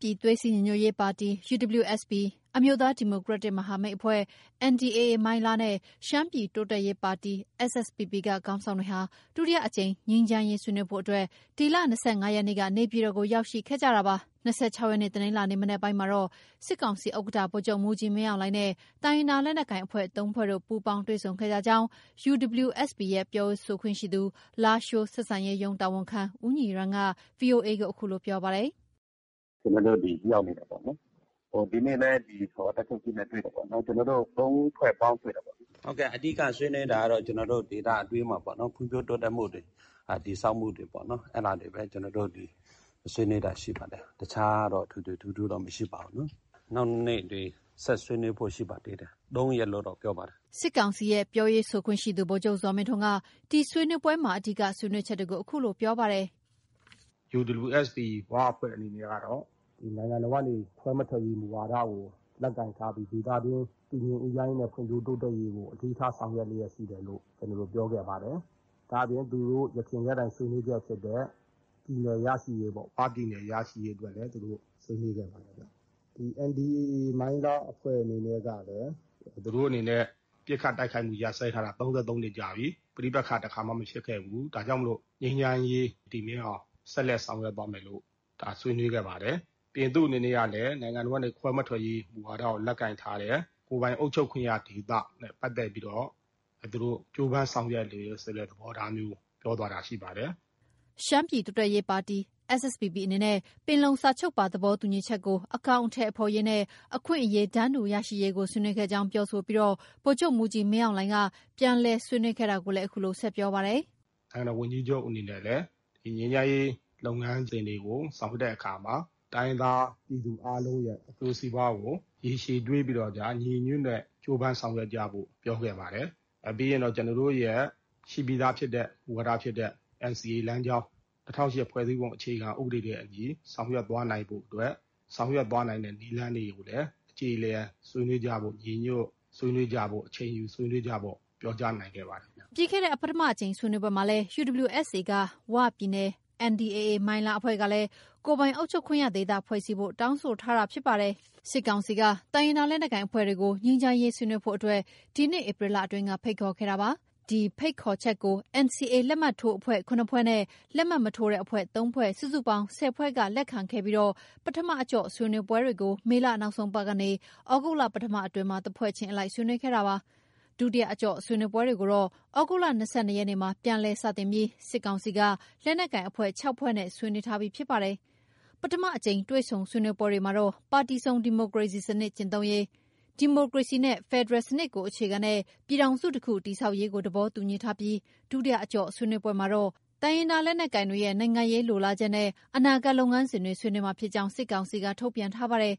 ပြည်သွေးစည်းညီညွတ်ရေးပါတီ ၊ အမျိုးသား ဒီမိုကရက်တစ် မဟာမိတ်အဖွဲ့ NDAA မိုင်းလား နဲ့ ရှမ်းပြည်တိုးတက်ရေးပါတီ SSPP က ခေါင်းဆောင်တွေဟာ ဒုတိယအကြိမ် ငြိမ်းချမ်းရေးဆွေးနွေးဖို့အတွက် ဒီလ ၂၅ရက်နေ့က နေပြည်တော်ကို ရောက်ရှိခဲ့ကြတာပါ။ ၂၆ ရက်နေ့ တနင်္လာနေ့ မနက်ပိုင်းမှာတော့ စစ်ကောင်စီဥက္ကဌ ဗိုလ်ချုပ်မှူးကြီး မင်းအောင်လှိုင်နဲ့ တိုင်းရင်းသား လက်နက်ကိုင် အဖွဲ့ ၃ဖွဲ့တို့ ပူးပေါင်းတွေ့ဆုံခဲ့ကြကြောင်း UWSPရဲ့ ပြောရေးဆိုခွင့်ရှိသူ လားရှိုးဆက်ဆံရေးရုံး တာဝန်ခံ ဦးညီရန်း က VOA ကို အခုလို ပြောပါတယ်။ “ ကျနော်တို့ ဒီရောက်နေတယ်ပေါ့နော်။ ဒီနေ့လည်းကျနော်တို့ တပ်ချုပ်ကြီးနဲ့ တွေ့တယ်ပေါ့နော်။ ကျနော်တို့ ၃ဖွဲ့ ပေါင်းတွေ့တာပေါ့နော်။အဓိက ဆွေးနွေးတာကတော့ ကျနော်တို့ ဒေသတွင်းမှာ ဖွံ့ဖြိုးတိုးတက်မှုတွေ၊ တည်ဆောက်မှုတွေပေ့ါနော်။ အဲဒါတွေပဲ ဆွေးနွေးတာ ရှိပါတယ်။ တခြားတော့ ထွေထွေထူးထူးတော့ ဆွေးနွေးတာ မရှိပါဘူး။ နောက်နေ့တွေ ဆက်ဆွေးနွေးဖို့ ရှိပါတယ်။ ၃ရက်လို့တော့ ပြောပါတယ်။” စစ်ကောင်စီရဲ့ ပြောရေးဆိုခွင့်ရှိသူ ဗိုလ်ချုပ် ဇော်မင်းထွန်းက ဒီဆွေးနွေးပွဲမှာ အဓိက ဆွေးနွေးချက်တွေကို အခုလို ပြောပါတယ်။ “ UWSP ဝအဖွဲ့ကတော့ နိုင်ငံတော်ကနေ ခွဲမထွက်ရေး မူဝါဒကို လက်ကိုင်ထားပြီး ဒေသတွင်း တည်ငြိမ်အေးချမ်းရေးနဲ့ ဖွံ့ဖြိုးတိုးတက်ရေးကို အလေးထား ဆောင်ရွက်လျှက်ရှိတယ်လို့ ပြောခဲ့ပါတယ်။ ဒါအပြင် သူတို့ယခင်ကတည်းက ဆွေးနွေးချက်ဖြစ်တဲ့ ပြည်နယ်ရရှိရေး ဝပြည်နယ်ရရှိရေးအတွက်လည်း သူတို့ ဆွေးနွေးခဲ့ပါတယ်။ NDAA မိုင်းလားအဖွဲ့အနေနဲ့ ကလည်း သူတို့အနေနဲ့ ပစ်ခတ်တိုက်ခိုက်မှုရပ်စဲထားတာ ၃၃နှစ်ကြာပြီ။ ပဋိပက္ခ တခါမှ မဖြစ်ခဲ့ဖူးဘူး။ ဒါကြောင့်မို့ ဆက်လက်ပြီးတော့ ငြိမ်းချမ်းရေး တည်မြဲအောင် ဆက်လက်ဆောင်ရွက်သွားမယ်လို့ ဆွေးနွေးခဲ့ပါတယ်။ နောက် သူ့အနေနဲ့ကလည်း နိုင်ငံတော်ကနေ ခွဲမထွက်ရေး မူဝါဒကို လက်ကိုင်ထားတယ်။ ကိုယ်ပိုင်အုပ်ချုပ်ခွင့်ရဒေသအဖြစ် ကြိုးပန်းဆောင်ရွက်နေတဲ့ သဘောထားမျိုး ပြောသွားတာရှိပါတယ်။ ” ရှမ်းပြည်တိုးတက်ရေးပါတီ SSPP အနေနဲ့ ပင်လုံစာချုပ်ပါ သဘောတူညီချက်ကို အကောင်အထည်ဖော်ရေးနဲ့ အခွင့်အရေးတန်းတူ ရရှိရေးကို ဆွေးနွေးခဲ့ကြောင်းပြောဆိုပြီး ဗိုလ်ချုပ်မှုးကြီးမင်းအောင်လှိုင်က ပြန်လည်ဆွေးနွေးခဲ့တာကိုလည်း အခုလို ဆက်ပြောပါတယ်။ “ နိုင်ငံတော် ဝန်ကြီးချုပ်အနေနဲ့လည်း ဒီငြိမ်းချမ်းရေးလုပ်ငန်းစဉ်တွေကို ဆောင်ရွက်တဲ့အခါမှာ တိုင်းရင်းသားပြည်သူအားလုံး အကျိုးစီးပွားကို ရေရှည်တွေးပြီးတော့ ညီညီညွတ်ညွတ်နဲ့ ကြိုးပမ်းဆောင်ရွက်ကြဖို့ ပြောခဲ့ပါတယ်။ ပြီးရင်တော့ ကျနော်တို့ရဲ့ ရှိပြီးသား မူဝါဒဖြစ်တဲ့ NCA လမ်းကြောင်း၊ ၂၀၀၈ ဖွဲ့စည်းပုံ အခြေခံဥပဒေ နဲ့ အညီ ဆောင်ရွက်သွားနိုင်ဖို့အတွက် ဆောင်ရွက်သွားနိုင်တဲ့ နည်းလမ်းတွေကိုလည်း အကြေအလည် ဆွေးနွေးကြဖို့ ညီညီညွတ်ညွတ် ဆွေးနွေးကြဖို့ အချိန်ယူဆွေးနွေးကြဖို့ ပြောကြားနိုင်ခဲ့ပါတယ်ခင်ဗျ။” ပြီးခဲ့တဲ့ ပထမအကြိမ် ဆွေးနွေးပွဲမှာလည်း UWSA က ဝပြည်နယ်၊ NDAA မိုင်းလားအဖွဲ့ကလည်း ကိုယ်ပိုင်အုပ်ချုပ်ခွင့်ရဒေသဖွဲ့စည်းဖို့ တောင်းဆိုထားဖြစ်ပါတယ်။ စစ်ကောင်စီက တိုင်းရင်းသားလက်နက်ကိုင်အဖွဲ့တွေကို ငြိမ်းချမ်းရေးဆွေးနွေးဖို့အတွက် ဒီနှစ်ဧပြီလအတွင်းက ဖိတ်ခေါ်ခဲ့တာပါ။ ဒီဖိတ်ခေါ်ချက်ကို NCA လက်မှတ်ထိုးအဖွဲ့ ၇ဖွဲ့နဲ့ လက်မှတ်မထိုးတဲ့အဖွဲ့ ၃ဖွဲ့ စုစုပေါင်း ၁၀ဖွဲ့က လက်ခံခဲ့ပြီး ပထမအကျော့ ဆွေးနွေးပွဲတွေကို မေလနောက်ဆုံးပတ်ကနေ သြဂုတ်လ ပထမပတ် အတွင်းမှာ တဖွဲ့ချင်းအလိုက် ဆွေးနွေးခဲ့ပါတယ်။ ဒုတိယအကျော့ ဆွေးနွေးပွဲတွေကို သြဂုတ်လ ၂၂ရက်နေ့မှာ ပြန်လည်စတင်ပြီး စစ်ကောင်စီက လက်နက်ကိုင်အဖွဲ့ ၆ဖွဲ့နဲ့ ဆွေးနွေးထားပြီးဖြစ်ပါတယ်။ ပထမအကြိမ် တွေ့ဆုံဆွေးနွေးပွဲတွေမှာတော ပါတီစုံ ဒီမိုကရေစီစနစ် ကျင့်သုံးရေး၊ ဒီမိုကရေစီနဲ့ ဖက်ဒရယ်စနစ်ကို အခြေခံတဲ့ ပြည်ထောင်စုတခု တည်ဆောက်ရေးကို သဘောတူညီထားပြီး ဒုတိယအကျော့ဆွေးနွေး့ပွဲမှာတော့ တိုင်းရင်းသားလက်နက်ကိုင်တွေရဲ့ နိုင်ငံရေးလိုလားချက်နဲ့ အနာဂတ်လုပ်ငန်းစဉ်တွေ ဆွေးနွေးမှာဖြစ်ကြောင်း စစ်ကောင်စီက ထုတ်ပြန်ထားပါတယ်။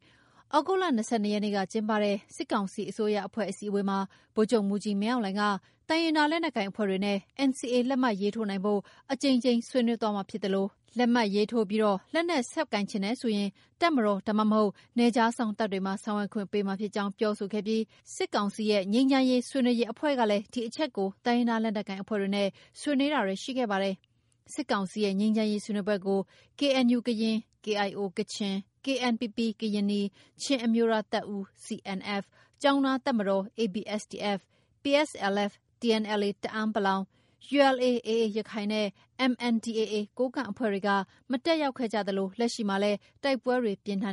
သြဂုတ်လ၂၂ရက်နေ့က ကျင်းပတဲ့ စစ်ကောင်စီအစိုးရအဖွဲ့ အစည်းအဝေးမှာ ဗိုလ်ချုပ်မှူးကြီး မင်းအောင်လှိုင်က တိုင်းရင်းသားလက်နက်ကိုင်အဖွဲ့တွေနဲ့ NCA လက်မှတ် ရေးထိုးနိုင်ဖို့ အကြိမ်ကြိမ် ဆွေးနွေးသွားမှာဖြစ်သလို လက်မှတ် ရေးထိုးပြီး၊ လက်နက် ဆက်ကိုင်ချင်တယ်ဆိုရင် တပ်မတော် ဒါမှမဟုတ် နယ်ခြားစောင့်တပ်တွေမှာ ဆောင်ရွက်ခွင့်ပေးမှာဖြစ်ကြောင်း ပြောဆိုခဲ့ပြီး စစ်ကောင်စီရဲ့ ငြိမ်းချမ်းရေးဆွေးနွေးရေးအဖွဲ့ကလည်း ဒီအချက်ကို တိုင်းရင်းသား လက်နက်ကိုင်အဖွဲ့တွေနဲ့ ဆွေးနွေးတာတွေ ရှိခဲ့ပါတယ်။ စစ်ကောင်စီရဲ့ ငြိမ်းချမ်းရေးဆွေးနွေးပွဲကို KNUကရင်၊ KIO ကချင်၊ KNPP ကရင်နီ ချင်းအမျိုးသားတပ်ဦး CNF ၊ ကျောင်းသားတပ်မတော်ABSDF၊ ၊ PSLF/ TNLA တအန်း(ပလောင်) ၊ ULA/AA ရခိုင်နဲ့ ၊ MNDAA ကိုးကန့်အဖွဲ့တွေက မတက်ရောက်ခဲ့ကြသလို လက်ရှိမှာလည်း တိုက်ပွဲတွေ ပြင်းထန်